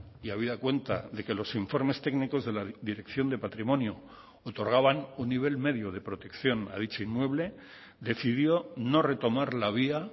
y habida cuenta de que los informes técnicos de la dirección de patrimonio otorgaban un nivel medio de protección a dicho inmueble decidió no retomar la vía